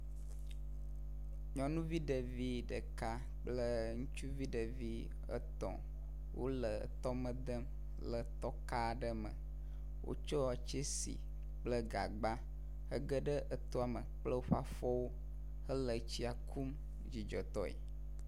Nyɔnuvi ɖevi ɖeka kple ŋutsuvi etɔ̃ wole tɔme dem kple tɔka aɖe me wotsɔ tsesi kple gagba hege ɖe etɔa me kple woƒe afɔwo hele etsia kum dzidzɔtɔe.